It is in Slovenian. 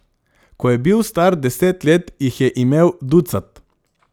Ko je bil star deset let, jih je imel ducat.